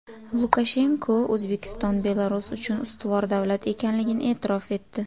Lukashenko O‘zbekiston Belarus uchun ustuvor davlat ekanligini e’tirof etdi.